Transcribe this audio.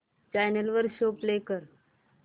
channel वर show play कर